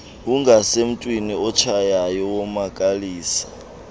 ungasemntwini otshayayo womakalisa